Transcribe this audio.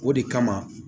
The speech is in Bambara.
O de kama